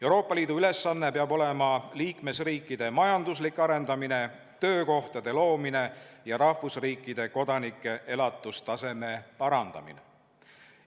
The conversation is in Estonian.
Euroopa Liidu ülesanne peab olema liikmesriikide majanduslik arendamine, töökohtade loomine ja rahvusriikide kodanike elatustaseme parandamine.